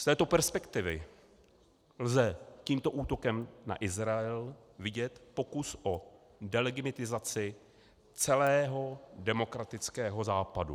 Z této perspektivy lze tímto útokem na Izrael vidět pokus o delegitimizaci celého demokratického západu.